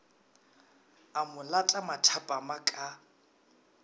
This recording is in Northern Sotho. a mo lata mathapama ka